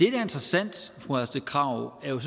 er interessant fru astrid krag er jo